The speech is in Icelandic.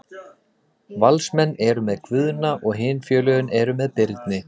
Valsmenn eru með Guðna og hin félögin eru með Birni.